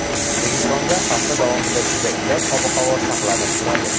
O‘zbekistonda hafta davomida juda iliq ob-havo saqlanib turadi.